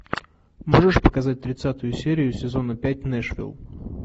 можешь показать тридцатую серию сезона пять нэшвилл